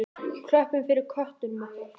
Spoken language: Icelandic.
Klöppum fyrir köttum okkar!